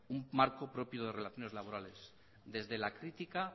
un marco propio de relaciones laborales desde la crítica